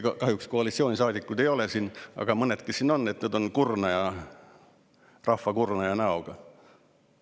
Kahjuks koalitsioonisaadikuid siin ei ole, aga mõned, kes siin on, on rahva kurnaja näoga.